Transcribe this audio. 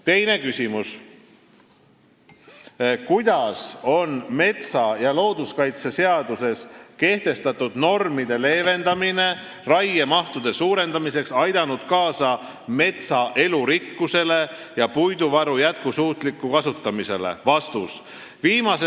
Teine küsimus: "Kuidas on metsa- ja looduskaitseseaduses kehtestatud normide leevendamine raiemahtude suurendamiseks aidanud kaasa metsa elurikkusele ja puiduvaru jätkusuutlikule kasutamisele?